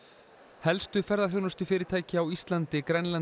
helstu ferðaþjónustufyrirtæki á Íslandi Grænlandi